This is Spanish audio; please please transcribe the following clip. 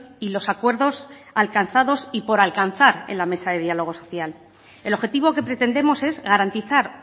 y los acuerdos alcanzados y por alcanzar en la mesa de diálogo social el objetivo que pretendemos es garantizar